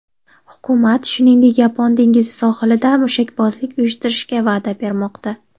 Hukumat, shuningdek, Yapon dengizi sohilida mushakbozlik uyushtirishga va’da bermoqda.